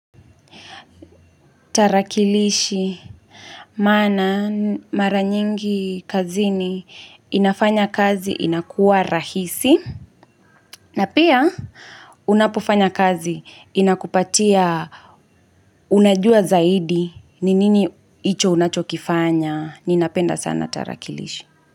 Tarakilishi maana mara nyingi kazini inafanya kazi inakuwa rahisi na pia unapofanya kazi inakupatia unajua zaidi ni nini hicho unachokifanya ninapenda sana tarakilishi.